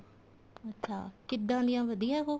ਅੱਛਾ ਕਿੱਦਾਂ ਦੀ ਏ ਵਧੀਆ ਉਹ